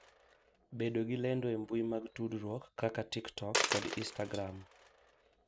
Bedo gi lendo e mbui mag tudruok kaka TikTok kod Instagram.